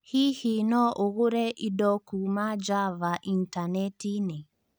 hihi no ũgũre indo kuuma Java n Intaneti-inĩ